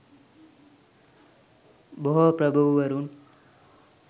බොහෝ ප්‍රභූවරුන්